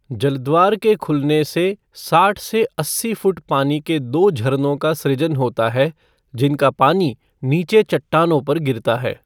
जल द्वार के खुलने से साठ से अस्सी फ़ुट पानी के दो झरनों का सृजन होता है जिनका पानी नीचे चट्टानों पर गिरता है।